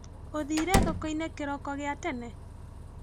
ũthire thokoinĩ kĩroko gia tene?